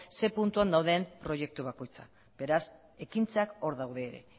zein puntuan dauden proiektu bakoitza beraz ekintzak hor daude ere